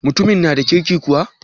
Mutumin na da kirki kuwa?